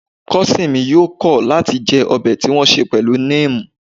Kosin mi yoo kọ̀ láti jẹ ọbẹ̀ tí wọn ṣe pẹ̀lú neem